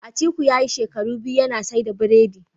Atiku yayi biyu shekaru yana saida birodi